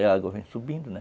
Aí a água vem subindo, né?